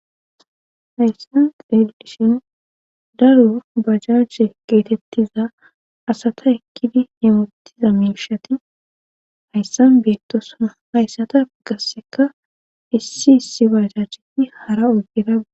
hayssan xedishin daru bajajhe geetettiza asata ekkidi yewottiza miishati hayssan beettosana hayssata gasseka issi issi bajacheti hara oggerabu